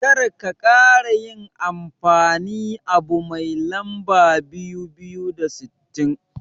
Karka kara yin amfani abu mai lamba dubu biyu da sittin.